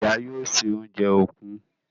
Ìyá yóò ṣe oúnjẹ òkú..